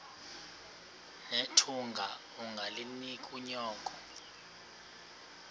nethunga ungalinik unyoko